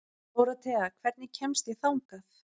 Dórothea, hvernig kemst ég þangað?